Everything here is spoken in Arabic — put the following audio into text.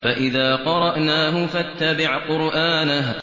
فَإِذَا قَرَأْنَاهُ فَاتَّبِعْ قُرْآنَهُ